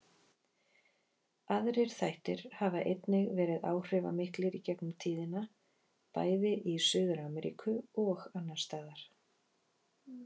Aðrir þættir hafa einnig verið áhrifamiklir í gegnum tíðina, bæði í Suður-Ameríku og annars staðar.